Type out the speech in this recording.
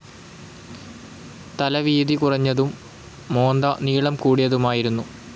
തല വീതി കുറഞ്ഞതും മോന്ത നീളം കൂടിയതുമായിരുന്നു.